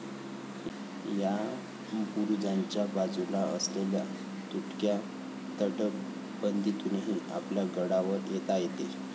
या बुरुजाच्या बाजूला असलेल्या तुटक्या तटबंदीतूनही आपल्याला गडावर येता येते